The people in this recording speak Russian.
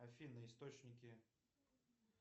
афина источники